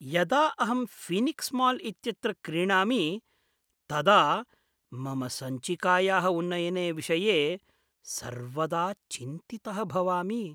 यदा अहं Phoenix mall इत्यत्र क्रीणामि तदा मम सञ्चिकायाः उन्नयने विषये सर्वदा चिन्तितः भवामि।